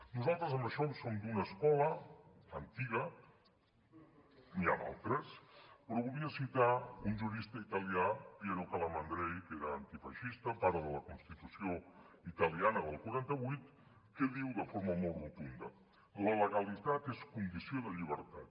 nosaltres en això som d’una escola antiga n’hi ha d’altres però volia citar un jurista italià piero calamandrei que era antifeixista pare de la constitució italiana del quaranta vuit que diu de forma molt rotunda la legalitat és condició de llibertat